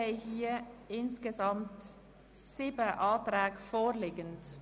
Auf die Massnahme ist teilweise zu verzichten (CHF 6,5 Millionen).